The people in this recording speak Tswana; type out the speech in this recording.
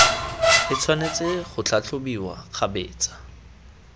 e tshwanetse go tlhatlhobiwa kgabetsa